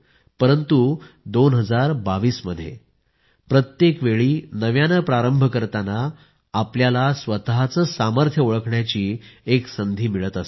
परंतु 2022 मध्ये प्रत्येकवेळी नव्याने प्रारंभ करताना आपल्याला स्वतःचे सामर्थ्य ओळखण्याची एक संधी मिळत असते